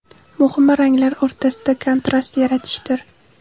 Muhimi, ranglar o‘rtasida kontrast yaratishdir.